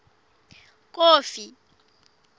kofi